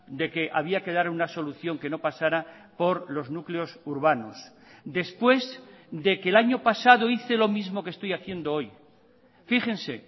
de que había que dar una solución que no pasara por los núcleos urbanos después de que el año pasado hice lo mismo que estoy haciendo hoy fíjense